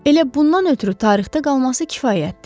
Elə bundan ötrü tarixdə qalması kifayətdir.